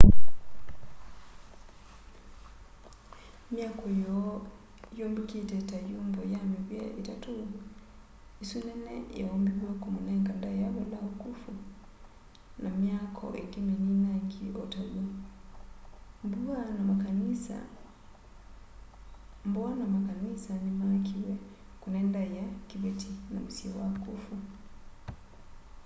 myaako yoo yumbikite ta yumbo y mivia itatu isu nene yaumbiwe kumunenga ndaia valao khufu na myaako ingi mininangi o taw'o mbua na makanisa nimaakiwe kune ndaia kiveti namusyi wa khufu